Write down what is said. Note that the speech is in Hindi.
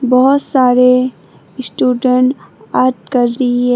बहुत सारे स्टूडेंट आर्ट कर रही है।